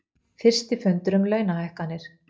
Fyrsti fundur um launahækkanir